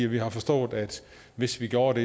vi har forstået at hvis vi gjorde det